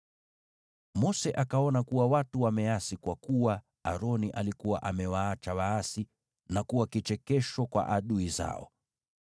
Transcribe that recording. Mose akaona kuwa watu wameasi, kwa kuwa Aroni alikuwa amewaacha waasi, na hivyo kuwa kichekesho kwa adui zao.